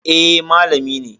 Eh, malami ne